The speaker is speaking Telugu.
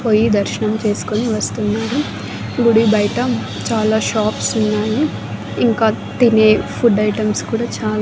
పోయి దర్శనం చేసుకుని వస్తున్నారు గుడి బయట చాలా షాప్స్ ఉన్నాయి ఇంకా తినే ఫుడ్ ఐటమ్స్ కూడా చాలా--